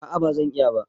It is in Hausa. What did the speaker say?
A'a, ba zan iya ba